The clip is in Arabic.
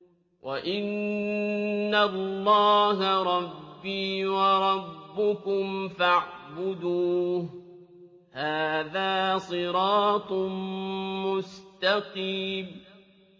وَإِنَّ اللَّهَ رَبِّي وَرَبُّكُمْ فَاعْبُدُوهُ ۚ هَٰذَا صِرَاطٌ مُّسْتَقِيمٌ